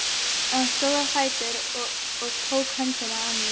Hann stóð á fætur og tók í höndina á mér.